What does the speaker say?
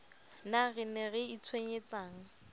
na re ne re itshwenyetsang